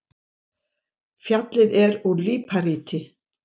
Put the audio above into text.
Fjallið er úr líparíti.